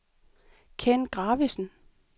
Kenn Gravesen